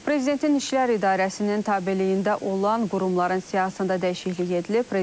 Prezidentin İşlər İdarəsinin tabeliyində olan qurumların siyahısında dəyişiklik edilib.